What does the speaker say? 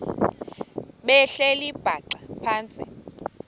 behleli bhaxa phantsi